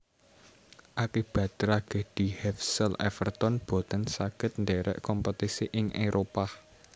Akibat Tragedi Hevsel Everton boten saged ndherek kompetisi ing Éropah